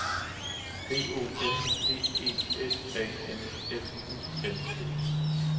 B O N D E S A M F U N D